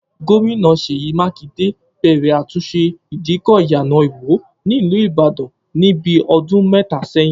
Gómìnà Ṣèyí Mákìndé bẹ̀rẹ̀ àtúnṣe ìdíkọ̀ Iyana Ìwó ní ìlú Ìbàdàn ni bí ọdún mẹ́ta sẹ́yìn